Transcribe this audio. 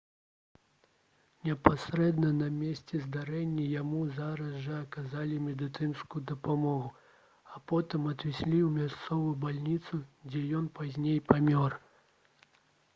непасрэдна на месцы здарэння яму зараз жа аказалі медыцынскую дапамогу а потым адвезлі ў мясцовую бальніцу дзе ён пазней памёр